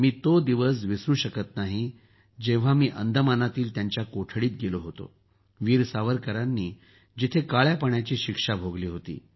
मी तो दिवस विसरू शकत नाही की जेव्हा मी अंदमानातील त्यांच्या कोठडीत गेलो होतो जिथं वीर सावरकरांनी काळ्यापाण्याची शिक्षा भोगली